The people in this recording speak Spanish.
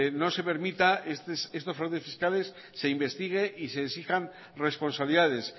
no se permita estos fraudes fiscales se investigue y se exijan responsabilidades